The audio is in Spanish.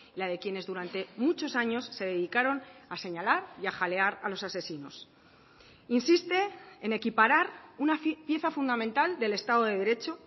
la de quienes durante muchos años se dedicaron a señalar y a jalear a los asesinos insiste en equiparar una pieza fundamental del estado de derecho